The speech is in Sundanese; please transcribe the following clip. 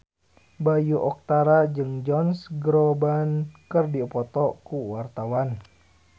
Bayu Octara jeung Josh Groban keur dipoto ku wartawan